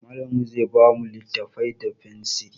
Mallamin mu zai ba mu littattafai da fensiri.